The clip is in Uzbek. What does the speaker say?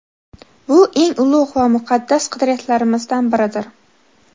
Bu – eng ulug‘ va muqaddas qadriyatlarimizdan biridir.